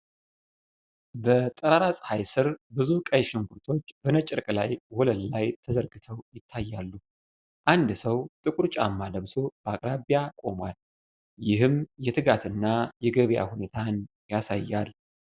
በጠራራ ፀሐይ ስር ብዙ ቀይ ሽንኩርቶች በነጭ ጨርቅ ላይ ወለል ላይ ተዘርግተው ይታያሉ። አንድ ሰው ጥቁር ጫማ ለብሶ በአቅራቢያ ቆሟል፤ ይህም የትጋት እና የገበያ ሁኔታን ያሳያል።